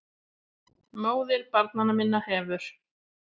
MÓÐIR BARNANNA MINNA HEFUR